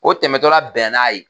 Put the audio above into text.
O tɛmɛtɔ la bɛn na n'a ye!